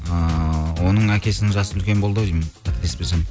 ыыы оның әкесінің жасы үлкен болды ау деймін қателеспесем